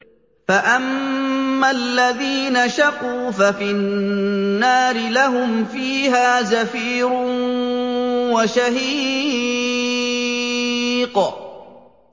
فَأَمَّا الَّذِينَ شَقُوا فَفِي النَّارِ لَهُمْ فِيهَا زَفِيرٌ وَشَهِيقٌ